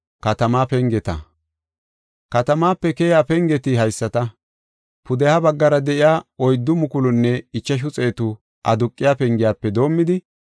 Katamaape keyiya pengeti haysata. Pudeha baggara de7iya oyddu mukulunne ichashu xeetu aduqiya pengiyafe doomidi,